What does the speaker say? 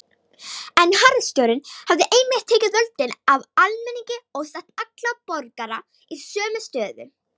En harðstjórnin hafði einmitt tekið völdin af almenningi og sett alla borgara í sömu stöðu.